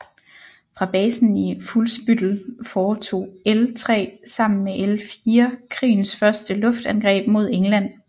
Fra basen i Fuhlsbüttel foretog L 3 sammen med L 4 krigens første luftangreb mod England